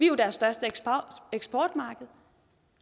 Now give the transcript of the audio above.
jo deres største eksportmarked